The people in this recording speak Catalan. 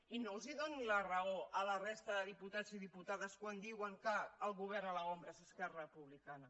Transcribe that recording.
i no doni la raó a la resta de diputats i diputades quan diuen que el govern a l’ombra és esquerra republicana